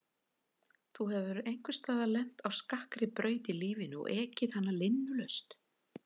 Þú hefur einhvers staðar lent á skakkri braut í lífinu og ekið hana linnulaust.